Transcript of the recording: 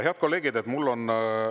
Head kolleegid!